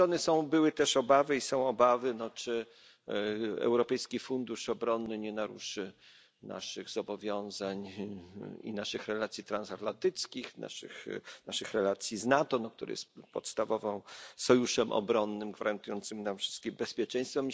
Z drugiej strony były też i są obawy, czy Europejski Fundusz Obronny nie naruszy naszych zobowiązań i naszych relacji transatlantyckich, naszych relacji z NATO, który jest podstawowym sojuszem obronnym gwarantującym nam wszystkim bezpieczeństwo.